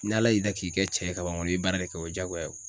N'ala y'i da k'i kɛ cɛ ye kaban kɔni i bi baara de kɛ o ye jagoya ye.